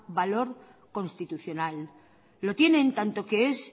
valor constitucional lo tiene tanto que es